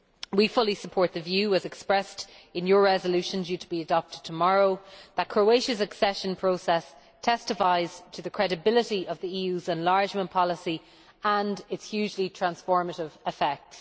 We fully support the view, as expressed in your resolution due to be adopted tomorrow, that Croatia's accession process testifies to the credibility of the EU's enlargement policy and its hugely transformative effects.